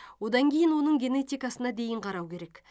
одан кейін оның генетикасына дейін қарау керек